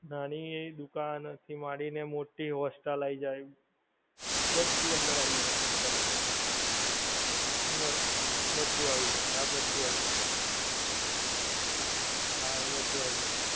નાની એવી દુકાન થી માંડીને મોટી હોસ્ટલ આવી જાય, બધુ અંદર આવી જાય total. અંદર, બધુ આવી જાય. હા બધુ આવી જાય. હા એ બધુ આવી જાય.